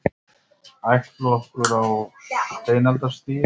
Ættflokkur á steinaldarstigi